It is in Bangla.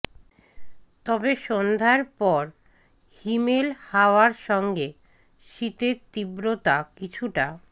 তবে সন্ধ্যার পর হিমেল হাওয়ার সঙ্গে শীতের তীব্রতা কিছুটা